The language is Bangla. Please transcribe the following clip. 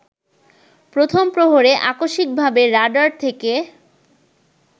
প্রথম প্রহরে আকস্মিকভাবে রাডার থেকে